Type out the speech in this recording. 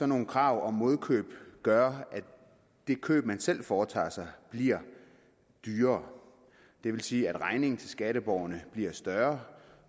nogle krav om modkøb gøre at det køb man selv foretager sig bliver dyrere det vil sige at regningen til skatteborgerne bliver større